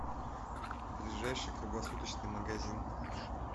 ближайший круглосуточный магазин